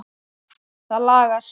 Það lagast.